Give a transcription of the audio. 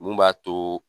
Mun b'a to